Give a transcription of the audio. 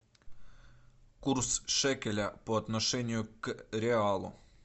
курс шекеля по отношению к реалу